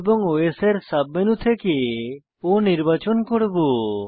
O এবং OS এর sub menu থেকে O নির্বাচন করব